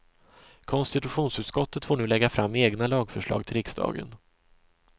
Konstitutionsutskottet får nu lägga fram egna lagförslag till riksdagen.